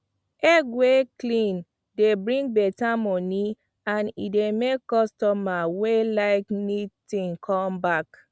egg wey clean dey bring better money and e dey make customer wey like neat thing come back